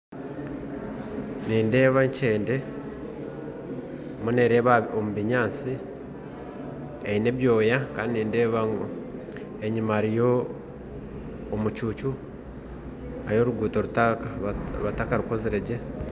Nindeeba enkyende eriyo nereeba omubinyatsi eine ebyoya kandi nindeeba ngu enyima hariyo omucuucu hariyo oruguto batakarukoziregye